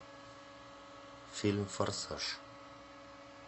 фильм форсаж